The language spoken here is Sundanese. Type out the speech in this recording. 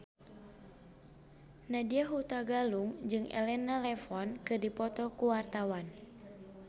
Nadya Hutagalung jeung Elena Levon keur dipoto ku wartawan